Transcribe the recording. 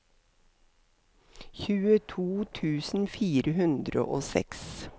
tjueto tusen fire hundre og seks